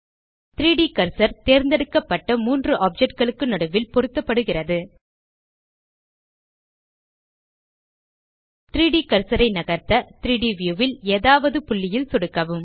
3ட் கர்சர் தேர்ந்தெடுக்கப்பட்ட 3 objectகளுக்கு நடுவில் பொருத்தப்படுகிறது 3ட் கர்சர் ஐ நகர்த்த 3ட் வியூ ல் எதாவது புள்ளியில் சொடுக்கவும்